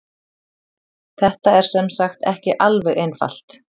Þetta er sem sagt ekki alveg einfalt.